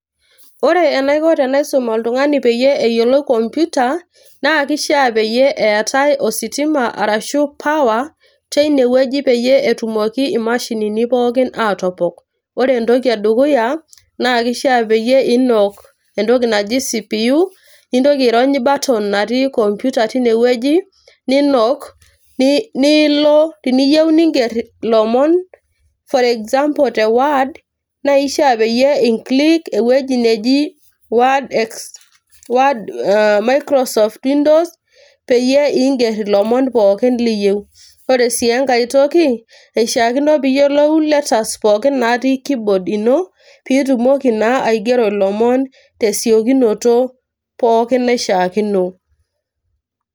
Ore enaiko tenaisum oltungani peyie eyiolou computer naa kishaa peyie eetae ositima arashu power teine wueji peyie etumoki imashinini pookin atopok. ore entoki edukuya naa kishaa pinok entoki naji [cs[ CPU ,nintoki airony button natii computer tine wueji ninok, niyieu nilo ninger ilomon for example te word naa ishiaa peyie i click ewueji nei word , microsoft windows peyie inger ilomon pookin liyieu. ore sii enkae toki eishiaakino piyiolou letters pookin natii keyboard ino pitumoki naa aigero ilomon pookin tesiokinoto pookin naishiaakino.